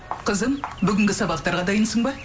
қызым бүгінгі сабақтарға дайынсың ба